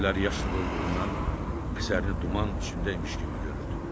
Gözləri yaşla dolduğundan əsərini duman içində imiş kimi görürdü.